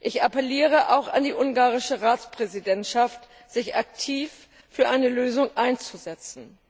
Ich appelliere auch an die ungarische Ratspräsidentschaft, sich aktiv für eine Lösung einzusetzen.